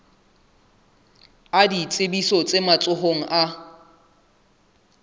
a ditsebiso tse matsohong a